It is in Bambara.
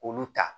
K'olu ta